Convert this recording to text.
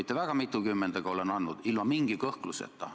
Ta vastas sellele, et tema usub, et uurimisorganid on sõltumatud.